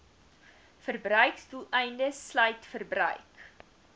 verbruiksdoeleindes sluit verbruik